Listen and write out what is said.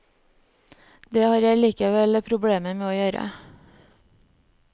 Det har jeg likevel problemer med å gjøre.